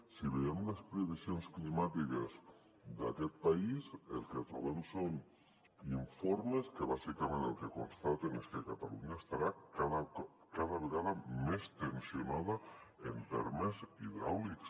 si veiem les previsions climàtiques d’aquest país el que trobem són informes que bàsicament el que constaten és que catalunya estarà cada vegada més tensionada en termes hidràulics